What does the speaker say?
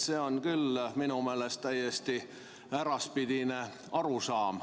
See on küll minu meelest täiesti äraspidine arusaam.